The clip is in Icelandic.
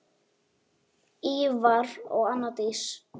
Ívar og Anna Dís.